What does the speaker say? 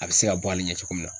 A bɛ se ka bɔ ali ɲɛ cogo min na.